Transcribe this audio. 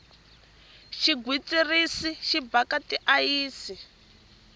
xigwitsirisi xi bhaka ti ayisi